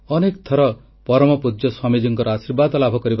ସିଦ୍ଧଗଙ୍ଗା ମଠ ପକ୍ଷରୁ ନିୟମିତ ଭାବେ ପ୍ରାଣୀ ଏବଂ କୃଷିମେଳାର ଆୟୋଜନ କରାଯାଉଥିଲା